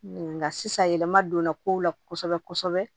Nka sisan yɛlɛma donna kow la kosɛbɛ kosɛbɛ